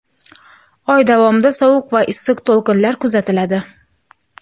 Oy davomida sovuq va issiq to‘lqinlar kuzatiladi.